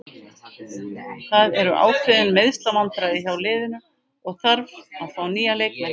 Það eru ákveðin meiðslavandræði hjá liðinu og þarf að fá nýja leikmenn.